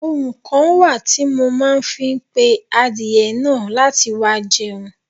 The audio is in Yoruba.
Ohùn kan wá ti mo ma fi n pe àdiẹ naà láti wá jẹun